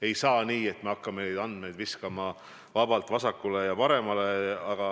Ei saa nii, et me hakkame neid andmeid viskama vabalt vasakule ja paremale.